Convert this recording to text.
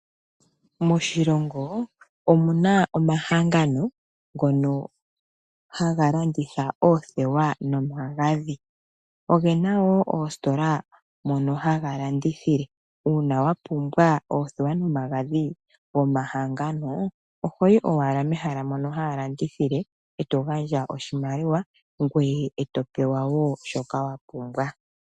Moshilongo omuna momahangano ngono haga landitha oothewa nomagadhi. Opena wo oositola mono haga landithilwa . Uuna wapumbwa oothewa nomagadhi gomahangano ohoyi owala mehala mono haya landithile eto gandja oshimaliwa ngweye eto pewa wo shoka wapumbwa .